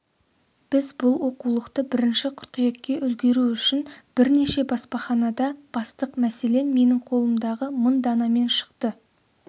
біз бұл оқулықты бірінші қыркүйекке үлгеру үшін бірнеше баспаханада бастық мәселен менің қолымдағы мың данамен шықты